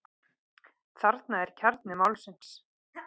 Þarna er kjarni málsins.